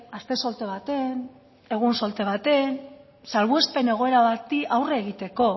aste solte baten egun solte baten salbuespen egoera bati aurre egiteko